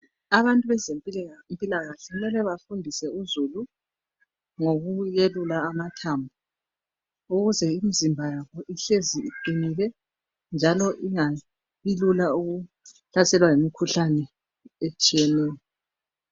Abantu wezemphilakahle kumele bafundise uzulu ngokuyelula amathambo ukuze imizimba yabo ihlezi iqinile, njalo ingabi lula ukuhlaselwa yimikhuhlane etshiyeneyo.